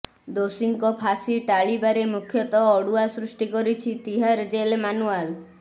ଦୋଷୀଙ୍କ ଫାଶୀ ଟାଳିବାରେ ମୁଖ୍ୟତଃ ଅଡୁଆ ସୃଷ୍ଟି କରିଛି ତିହାର ଜେଲ ମାନୁଆଲ